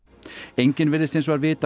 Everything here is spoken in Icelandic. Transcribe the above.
enginn virðist hins vegar vita